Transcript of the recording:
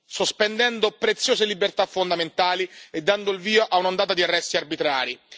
sospendendo preziose libertà fondamentali e dando il via a un'ondata di arresti arbitrari.